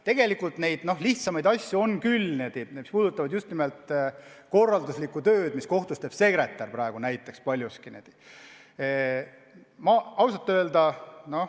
Tegelikult selliseid lihtsamaid asju on küll, need puudutavad just nimelt korralduslikku tööd, mida kohtus paljuski teeb praegu sekretär.